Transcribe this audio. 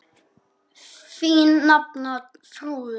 Þín nafna, Þrúður.